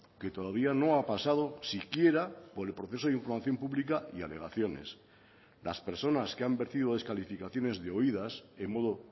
que todavía no ha pasado siquiera por el proceso de información pública y alegaciones las personas que han vertido descalificaciones de oídas en modo